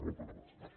moltes gràcies